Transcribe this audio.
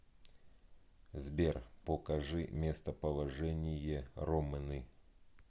сбер покажи местоположение ромны